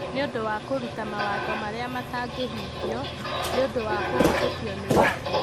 nĩ ũndũ wa kũruta mawatho marĩa matangĩhingio. Nĩ ũndũ wa kũhĩtũkwo nĩ watho.